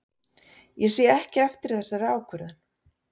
Ég sé ekki eftir þessari ákvörðun.